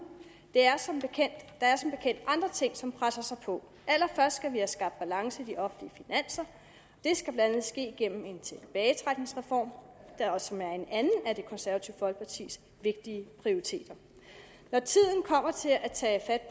der er som bekendt andre ting som presser sig på allerførst skal vi have skabt balance i de offentlige finanser det skal blandt andet ske gennem en tilbagetrækningsreform som er en anden af det konservative folkepartis vigtige prioriteter når tiden kommer til at tage